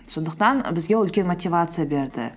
сондықтан бізге ол үлкен мотивация берді